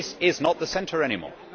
This is not the centre anymore.